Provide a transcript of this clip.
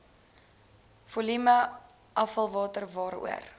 volume afvalwater waaroor